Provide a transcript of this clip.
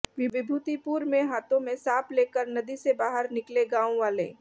विभूतिपुर में हाथों में सांप लेकर नदी से बाहर निकले गांव वाले